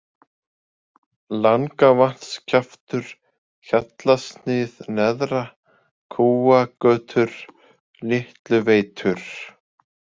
Langavatnskjaftur, Hjallasnið neðra, Kúagötur, Litluveitur